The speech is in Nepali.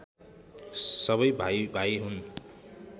सबै भाइभाइ हुन्